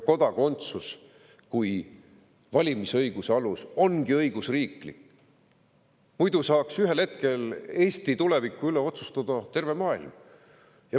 Kodakondsus kui valimisõiguse alus ongi õigusriiklik, muidu saaks ühel hetkel Eesti tuleviku üle otsustada terve maailm.